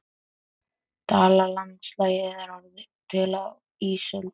Dalalandslagið er orðið til á ísöld.